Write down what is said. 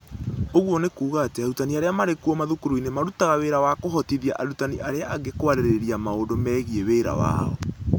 Ũguo nĩ kuuga atĩ arutani arĩa marĩ kuo mathukuru-inĩ marutaga wĩra wa kũhotithia arutani arĩa angĩ kwarĩrĩria maũndũ megiĩ wĩra wao.